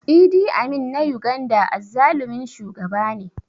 Idi Amin na Uganda azzalumin shugaba ne